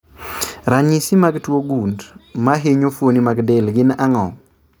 Ranyisi mag tuo gund mahinyo fuoni mag del gin ang'o?